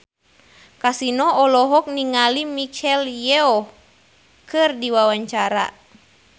Kasino olohok ningali Michelle Yeoh keur diwawancara